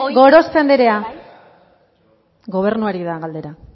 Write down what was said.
gorospe anderea bai gobernuari da galdera